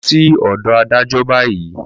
Lọ sí ọ̀dọ̀ adájọ́ báyìí!